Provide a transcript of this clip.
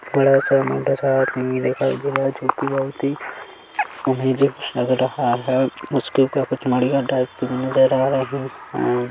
बड़ा सा मोटा सा आदमी भी दिखाई दे रहा है जो कि बहुत ही अमेज़िंग लग रहा है बड़िया टाइप कि नजर आ रहा है।